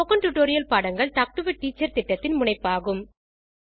spoken tutorial பாடங்கள் talk to a teacher திட்டத்தின் முனைப்பாகும்